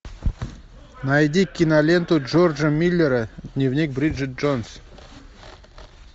найди киноленту джорджа миллера дневник бриджет джонс